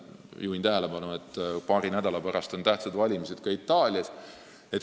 Juhin tähelepanu, et paari nädala pärast on tähtsad valimised ka Itaalias.